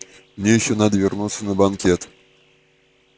мне ещё надо вернуться на банкет